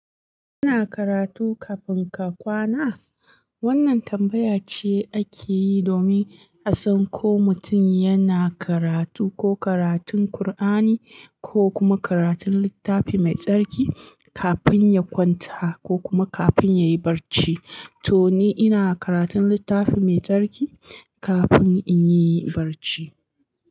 Kana karatu kafin ka kwana? Wannan tambaya ce akeyi domin a san ko mutum yana karatu, ko karatun Kur'ani, ko kuma karatun littafi mai tsarki, kafin ya kwanta ko kuma kafin ya yi barci. To ni ina karatun littafi mai tsarki kafin inyi barci.